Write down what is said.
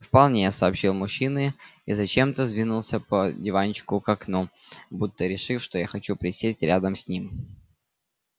вполне сообщил мужчина и зачем-то сдвинулся по диванчику к окну будто решив что я хочу присесть рядом с ним